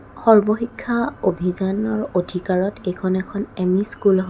সৰ্বশিক্ষা অভিযানৰ অধিকাৰত এইখন এখন এম_ই স্কুল হয়.